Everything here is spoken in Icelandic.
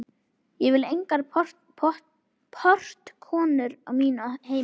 Ég vil engar portkonur á mínu heimili.